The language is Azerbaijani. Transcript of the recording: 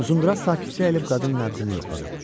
Uzundraz sakitcə əyilib qadının nəbzini yoxladı.